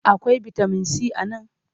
Akwai bitamin si a nan?